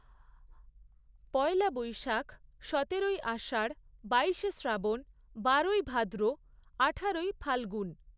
পয়লা বৈশাখ, সতেরোই আষাঢ়, বাইশে শ্রাবণ, বারোই ভাদ্র, আঠারোই ফাল্গুন